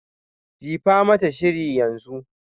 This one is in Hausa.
Jifa mata sihiri yanzu.